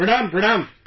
Pranaam, pranaam